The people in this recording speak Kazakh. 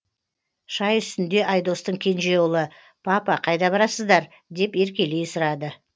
шай үстінде айдостың кенже ұлы папа қайда барасыздар деп еркелей сұрады